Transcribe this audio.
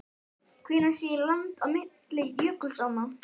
Hvenær sé land á milli jökulsánna?